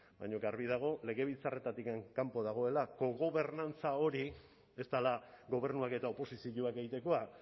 baina garbi dago legebiltzarretik kanpo dagoela kogobernantza hori ez dela gobernuak eta oposizioak egitekoa